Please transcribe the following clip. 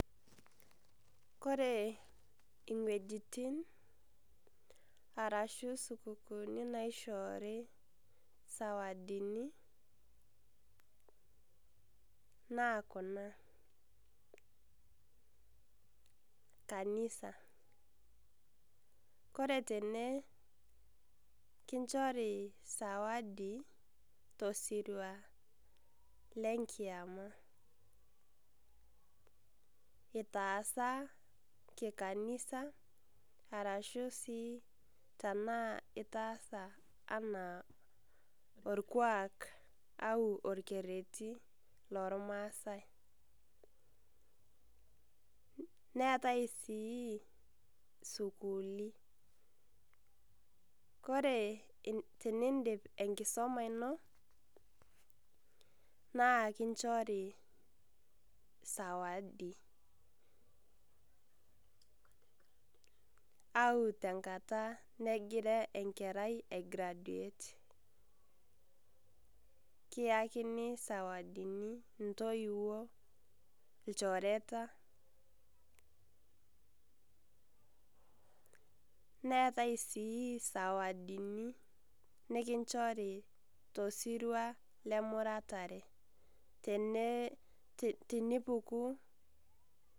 Kore iwuejitin arashu isukukuuni naishoorio izawadini naa kuna, kanisa, ore tene naa kinchori izawadi tosirua le enkiyama, itaasa sii kikanisa arashu sii itaasa anaa olkuak ashu olkereti lolmaasai. Neatai sii isukuuli, ore tenindip enkisoma ino naa kinchori izawadi ashu enkata nagira enkerai aigraduate, kiakini izawadini intoiwuo, ilchoreta. Neatai sii izawadini nekinchori tosirua lemuratare, tenipuku .